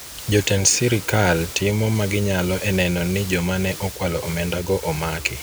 jotend sirikal timo maginyalo eneno ni joma ne okwalo omenda go omaki